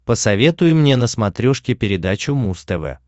посоветуй мне на смотрешке передачу муз тв